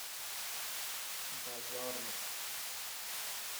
базарнов